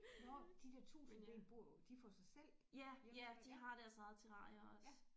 Nåh de der tusindben bor jo de for sig selv hjemme ved ja ja